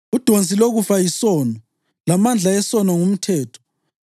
Udonsi lokufa yisono, lamandla esono ngumthetho.